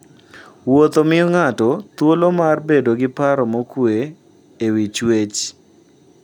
Wuotho miyo ng'ato thuolo mar bedo gi paro mokuwe e wi chwech.